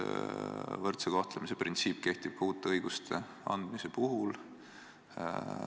Võrdse kohtlemise printsiip kehtib ka uute õiguste andmise puhul.